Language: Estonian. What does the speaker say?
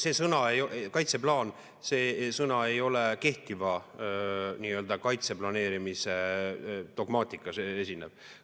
See sõna "kaitseplaan" ei ole kehtiva kaitse planeerimise dogmaatikas esinev.